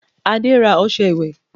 Adéwálé ra ọṣẹ ìwẹ̀